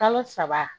Kalo saba